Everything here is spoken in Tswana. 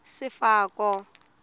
sefako